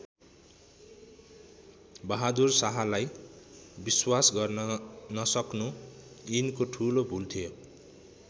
बहादुर शाहलाई विश्वास गर्न नसक्नु यिनको ठूलो भूल थियो।